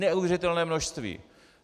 Neuvěřitelné množství.